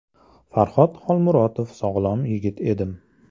Farxod Xolmurotov Sog‘lom yigit edim.